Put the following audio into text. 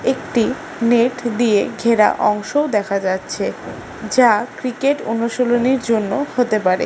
একটি নেট দিয়ে ঘেরা অংশও দেখা যাচ্ছে যা ক্রিকেট অনুশীলনীর জন্য হতে পারে।